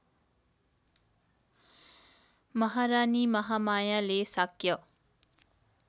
महारानी महामायाले शाक्य